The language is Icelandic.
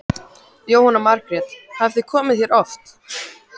Jóhanna Margrét: Hafið þið komið hérna oft?